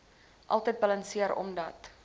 altyd balanseer omdat